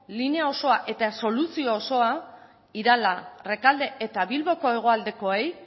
linea osoa eta soluzio osoa irala rekalde eta bilboko hegoaldekoei